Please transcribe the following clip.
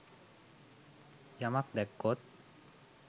යමක් දැක්කොත්